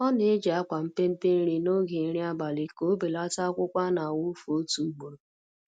Ọ na-eji akwa mpempe nri n'oge nri abali ka ọ belata akwukwọ a na-awụfu otu ugboro